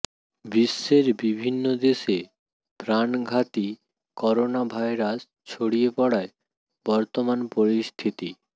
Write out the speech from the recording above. বিশ্বের বিভিন্ন দেশে প্রাণঘাতী করোনাভাইরাস ছড়িয়ে পড়ায় বর্তমান পরিস্থিতি